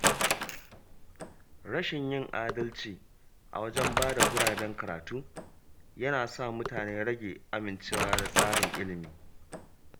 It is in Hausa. Rashin yin adalci a wajen bada guraben karatu yana sa mutane rage amincewa da tsarin ilimi.